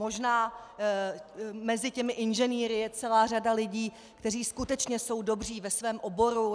Možná mezi těmi inženýry je celá řada lidí, kteří skutečně jsou dobří ve svém oboru.